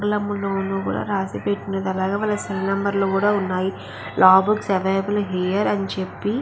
ఆంగ్లంలోనూ కూడ రాసిపెట్టినది అలాగే వాళ్ళ సెల్ నంబర్స్ కూడా ఉన్నాయి లా బుక్స్ అవైలబుల్ హియర్ అని చెప్పి --